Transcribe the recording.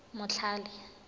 motlhale